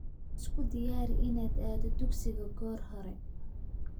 Isku diyaari inaad aado dugsiga goor hore